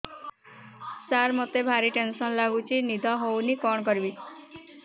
ସାର ମତେ ଭାରି ଟେନ୍ସନ୍ ଲାଗୁଚି ନିଦ ହଉନି କଣ କରିବି